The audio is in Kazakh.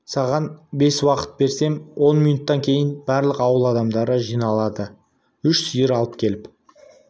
саған бес минут уақыт берем он минуттан кейін барлық ауыл адамдары жиналды үш сиыр алып келіп